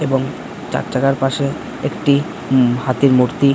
এবং চারচাকার পাশে একটি উ হাতির মূর্তি ।